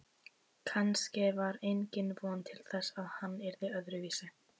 Kannske var engin von til þess að hann yrði öðruvísi